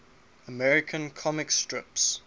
american comic strips